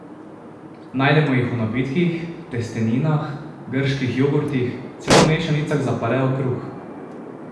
Najdemo jih v napitkih, testeninah, grških jogurtih, celo mešanicah za paleo kruh.